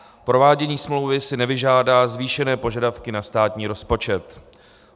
Provádění smlouvy si nevyžádá zvýšené požadavky na státní rozpočet.